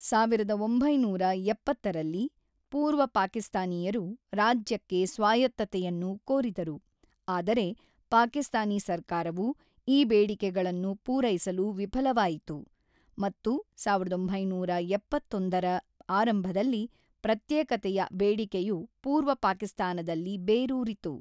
ಸಾವಿರದ ಒಂಬೈನೂರ ಎಪ್ಪತ್ತರಲ್ಲಿ, ಪೂರ್ವ ಪಾಕಿಸ್ತಾನೀಯರು ರಾಜ್ಯಕ್ಕೆ ಸ್ವಾಯತ್ತತೆಯನ್ನು ಕೋರಿದರು, ಆದರೆ ಪಾಕಿಸ್ತಾನಿ ಸರ್ಕಾರವು ಈ ಬೇಡಿಕೆಗಳನ್ನು ಪೂರೈಸಲು ವಿಫಲವಾಯಿತು ಮತ್ತು ಸಾವಿರದ ಒಂಬೈನೂರ ಎಪ್ಪತ್ತೊಂದರ ಆರಂಭದಲ್ಲಿ ಪ್ರತ್ಯೇಕತೆಯ ಬೇಡಿಕೆಯು ಪೂರ್ವ ಪಾಕಿಸ್ತಾನದಲ್ಲಿ ಬೇರೂರಿತು.